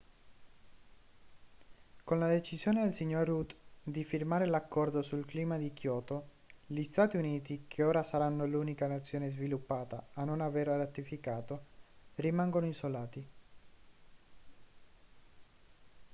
con la decisione del signor rudd di firmare l'accordo sul clima di kyoto gli stati uniti che ora saranno l'unica nazione sviluppata a non averlo ratificato rimangono isolati